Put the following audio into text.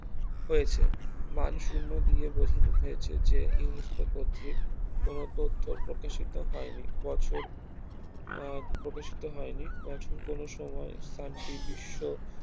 হয়েছে মান শুন্য দিয়ে বোঝান হয়েছে যে UNESCO কর্তৃক কোনো তথ্য প্রকাশিত হয়নি বছর আহ প্রকাশিত হয়নি বছর কোন সময়ে শান্তি বিশ্ব